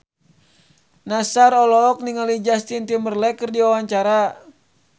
Nassar olohok ningali Justin Timberlake keur diwawancara